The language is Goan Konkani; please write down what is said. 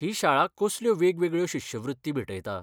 ही शाळा कसल्यो वेगवेगळ्यो शिश्यवृत्ती भेटयता?